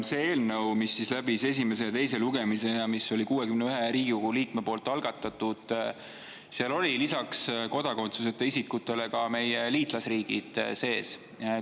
Selles eelnõus, mis läbis esimese ja teise lugemise ja mis on 61 Riigikogu liikme algatatud, olid lisaks kodakondsuseta isikutele sees ka meie liitlasriikide.